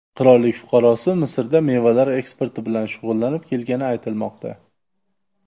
Qirollik fuqarosi Misrda mevalar eksporti bilan shug‘ullanib kelgani aytilmoqda.